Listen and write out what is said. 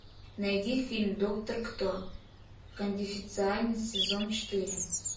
найди фильм доктор кто конфиденциально сезон четыре